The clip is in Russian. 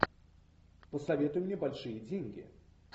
посоветуй мне большие деньги